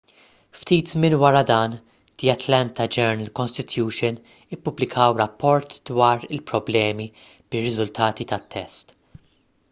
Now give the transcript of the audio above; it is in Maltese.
ftit żmien wara dan the atlanta journal-constitution ippubblikaw rapport dwar il-problemi bir-riżultati tat-test